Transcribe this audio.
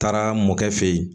Taara mɔkɛ fɛ yen